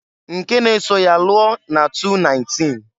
Nke n'eso ya lụọ na 2019.